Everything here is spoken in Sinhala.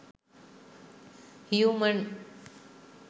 human